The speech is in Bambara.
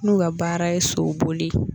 N'u ka baara ye soboli